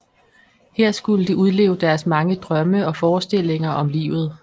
Her skulle de udleve deres mange drømme og forestillinger om livet